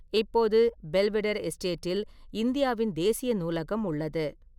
இப்போது, ​​பெல்வெடெர் எஸ்டேட்டில் இந்தியாவின் தேசிய நூலகம் உள்ளது.